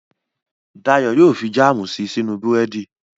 Dayọ̀ yóò fi jáàmù si sínú búrẹ́dì